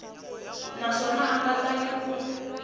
naswona a nga tali ku